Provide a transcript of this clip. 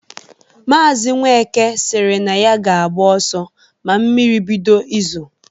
Maazi Nweke sịrị na ya ga-agba ọsọ ma mmiri bido izo